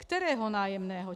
- Kterého nájemného?